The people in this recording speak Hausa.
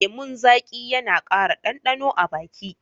Lemun zaƙi yana ƙara ɗanɗano a baki